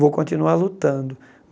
Vou continuar lutando.